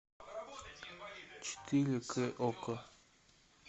четыре к окко